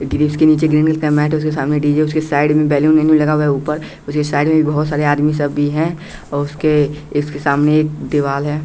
ग्रिज नीचे का green colour का मैट उसके सामने उसके साइड में बैलून लगा हुआ है ऊपर साइड में बहुत सारे आदमी सब भी हैं और उसके सामने एक दीवाल है।